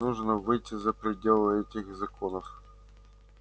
нужно выйти за пределы этих законов